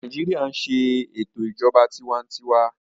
Nàìjíríà ń ṣe ìjọba tiwa-n-tiwa